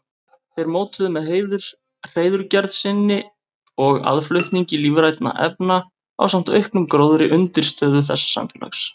Þeir mótuðu með hreiðurgerð sinni og aðflutningi lífrænna efna ásamt auknum gróðri undirstöðu þessa samfélags.